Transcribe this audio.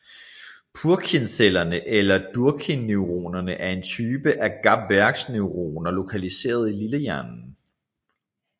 Purkinjeceller eller Purkinjeneuroner er en type af GABAerge neuroner lokaliseret i lillehjernen